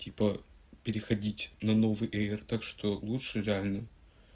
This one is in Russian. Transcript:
типа переходить на новый эир так что лучше реальный